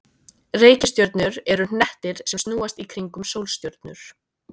Reikistjörnur eru hnettir sem snúast í kringum sólstjörnur.